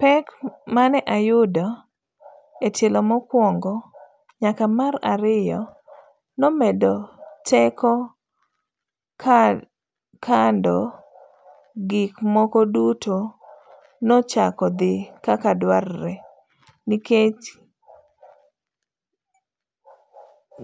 Pek mane ayudo etielo mokwongo nyaka mar ariyo nomeda teko kando gik moko duto nochako dhi kaka dwarre nikech